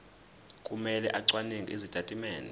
kumele acwaninge izitatimende